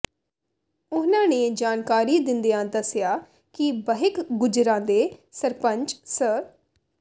ਉਨ੍ਹਾਂ ਨੇ ਜਾਣਕਾਰੀ ਦਿੰਦਿਆਂ ਦੱਸਿਆ ਕਿ ਬਹਿਕ ਗੁੱਜਰਾਂ ਦੇ ਸਰਪੰਚ ਸ